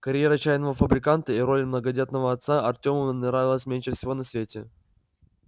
карьера чайного фабриканта и роль многодетного отца артему нравились меньше всего на свете